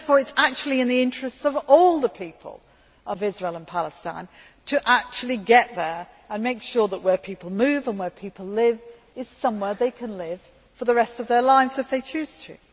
It is therefore in the interests of all the people of Israel and Palestine to get there and make sure that where people move and where people live is somewhere they can live for the rest of their lives if they choose to.